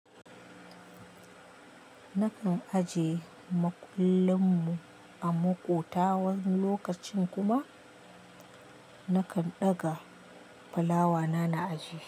Nakan ajiye makullin mu a maƙota wani lokacin kuma nakan ɗaga fulawa na a aji.